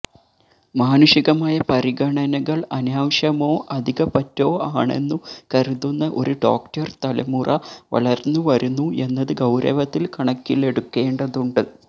മാനുഷികമായ പരിഗണനകള് അനാവശ്യമോ അധികപ്പറ്റോ ആണെന്നു കരുതുന്ന ഒരു ഡോക്ടര് തലമുറ വളര്ന്നുവരുന്നു എന്നത് ഗൌരവത്തില് കണക്കിലെടുക്കേണ്ടതുണ്ട്